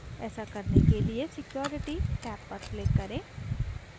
ऐसा करने के लिए security टैब पर click करें